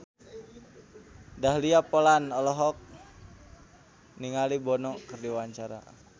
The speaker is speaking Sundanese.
Dahlia Poland olohok ningali Bono keur diwawancara